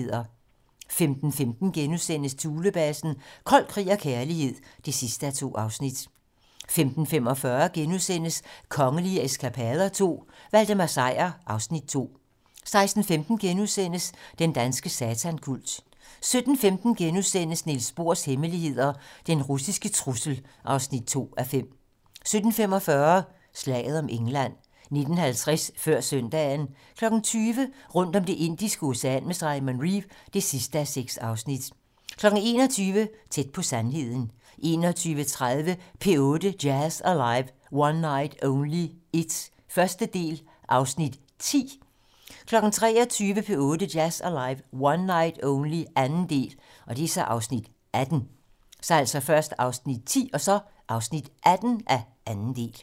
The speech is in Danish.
15:15: Thulebasen - Kold krig og kærlighed (2:2)* 15:45: Kongelige eskapader II - Valdemar Sejr (Afs. 2)* 16:15: Den danske satankult * 17:15: Niels Bohrs hemmelighed: Den russiske trussel (2:5)* 17:45: Slaget om England 19:50: Før søndagen 20:00: Rundt om Det Indiske Ocean med Simon Reeve (6:6) 21:00: Tæt på sandheden 21:30: P8 Jazz Alive - One Night Only 1. del (Afs. 10) 23:00: P8 Jazz Alive - One Night Only 2. del (Afs. 18)